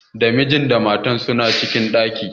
Da mijin da matan suna cikin ɗakin.